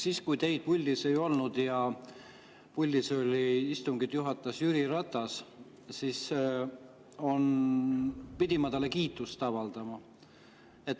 Siis, kui teid puldis ei olnud ja istungit juhatas Jüri Ratas, pidin ma talle kiitust avaldama.